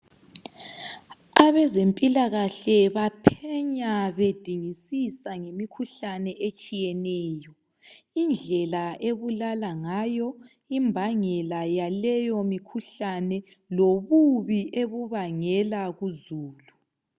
Abezempilakahle baphenya bedingisisa ngemikhuhlane etshiyeneyo. Indlela ebulala ngayo, imbangela yaleyomikhuhlane lobubi ebubangela kuzulu.